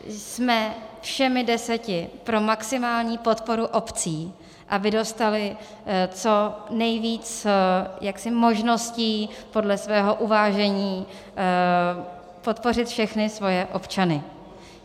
Jsme všemi deseti pro maximální podporu obcí, aby dostaly co nejvíce možností podle svého uvážení podpořit všechny svoje občany.